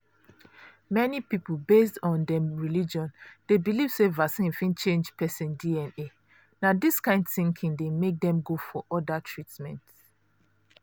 many people based on dem religion dey believe say vaccine fit change person dna. na dis kain thinking dey make dem go for other treatments.